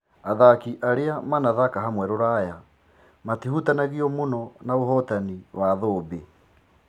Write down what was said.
Athaki arĩa manathaka hamwe Ruraya, matihutanagio mũno na ũhotani wa thũmbĩ.